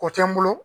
O tɛ n bolo